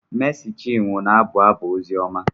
Mési chinwo na-abụ abụ ozioma